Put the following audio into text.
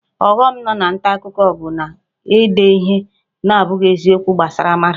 Ọghọm nọ na nta akụkọ bụ na-ede ihe na-abụghị eziokwu gbasara mmadụ